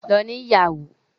Lọ ní ìyàwó!